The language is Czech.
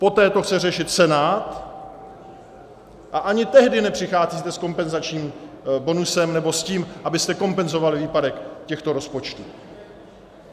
Poté to chce řešit Senát, a ani tehdy nepřicházíte s kompenzačním bonusem nebo s tím, abyste kompenzovali výpadek těchto rozpočtů.